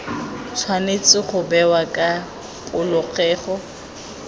tshwanetse go bewa ka polokego